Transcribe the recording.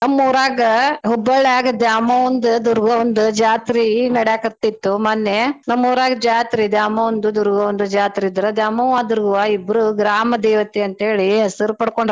ನಮ್ಮೂರಾಗ Hubballi ಯಾಗ ದ್ಯಾಮವ್ವಂದ್ ದುರ್ಗವ್ವಂದ್ ಜಾತ್ರೀ ನಡ್ಯಾಕತ್ತಿತು ಮನ್ನೇ ನಮ್ಮೂರಾಗ ಜಾತ್ರೀ ದ್ಯಾಮವ್ವಂದ್ ದುರ್ಗವ್ವಂದ್ ಜಾತ್ರೀ ಇದ್ರ ದ್ಯಾಮವ್ವ ದುರ್ಗವ್ವ ಇಬ್ರು ಗ್ರಾಮ ದೇವತೆ ಅಂತ್ತೇಳಿ ಹೆಸ್ರ್ ಪಡ್ಕೊಂಡಾರ.